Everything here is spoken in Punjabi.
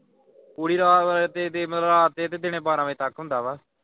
ਪੂਰੀ ਰਾਤ ਹੋਈ ਹੈ ਤੇ ਤੇ ਮਤਲਬ ਰਾਤ ਦੇ ਤੇ ਦਿਨੇ ਬਾਰਾਂ ਵਜੇ ਤੱਕ ਹੁੰਦਾ ਵਾ।